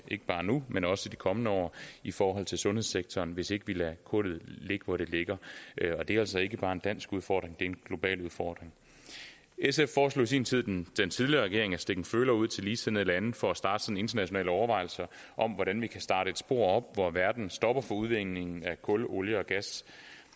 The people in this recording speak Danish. ikke bare nu men også i de kommende år i forhold til sundhedssektoren hvis ikke vi lader kullet ligge hvor det ligger og det er altså ikke bare en dansk udfordring det en global udfordring sf foreslog i sin tid den tidligere regering at stikke en føler ud til ligesindede lande for at starte internationale overvejelser om hvordan vi kan starte et spor op hvor verden stopper for udvinding af kul olie og gas